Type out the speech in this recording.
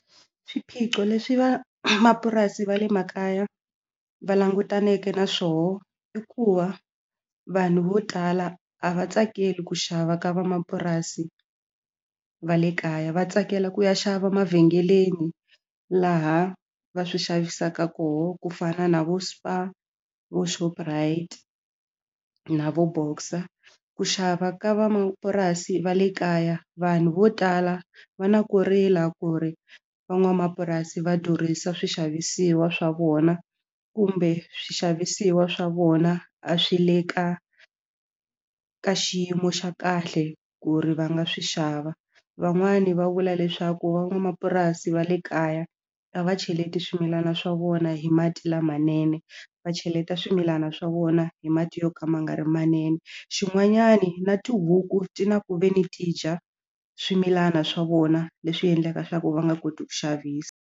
Swiphiqo leswi van'wamapurasi va le makaya va langutaneke na swona i ku va vanhu vo tala a va tsakeli ku xava ka van'wamapurasi va le kaya va tsakela ku ya xava emavhengeleni laha va swi xavisaka koho ku fana na vo Spar vo Shoprite na vo Boxer ku xava ka vamapurasi va le kaya vanhu vo tala va na ku rila ku ri van'wamapurasi va durhisa swixavisiwa swa vona kumbe swixavisiwa swa vona a swi le ka ka xiyimo xa kahle ku ri va nga swi xava van'wani va vula leswaku van'wamapurasi va le kaya a va cheleti swimilana swa vona hi mati lamanene va cheleta swimilana swa vona hi mati yo ka ma nga ri manene xin'wanyani na tihuku ti na ku ve ni ti dya swimilana swa vona leswi endlaka swa ku va nga koti ku xavisa.